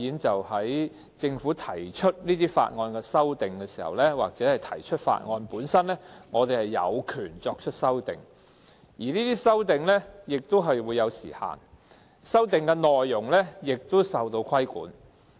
在政府提出法案或對法案作出修訂時，立法會議員有權作出修訂，但這些修訂不但受時間限制，內容也受規管。